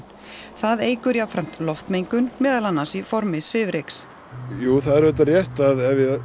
það eykur jafnframt loftmengun meðal annars í formi svifryks jú það er auðvitað rétt að